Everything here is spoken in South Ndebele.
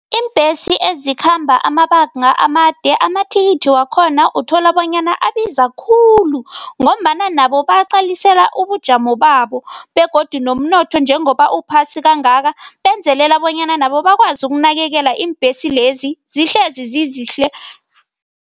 Iimbhesi ezikhamba amabanga amade, amathikithi wakhona uthola bonyana abiza khulu ngombana nabo baqalisela ubujamo babo begodu nomnotho njengoba uphasi kangaka benzelela bonyana nabo bakwazi ukunakekela iimbhesi lezi, zihlezi zizihle.